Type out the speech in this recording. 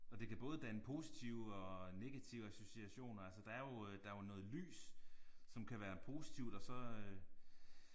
Og det kan både danne positive og negative associationer altså der er jo øh der er jo noget lys som kan være positivt og så øh